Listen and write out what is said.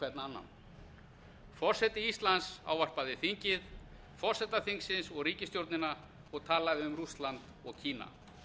annan forseti íslands ávarpaði þingið forseta þingsins og ríkisstjórnina og talaði um rússland og kína